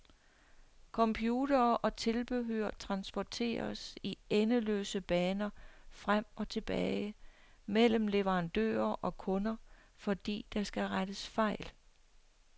Computere og tilbehør transporteres i endeløse baner frem og tilbage mellem leverandører og kunder, fordi der skal rettes fejl.